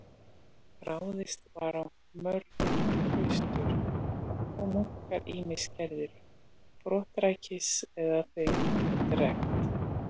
Ráðist var á mörg klaustur og munkar ýmist gerðir brottrækir eða þeim drekkt.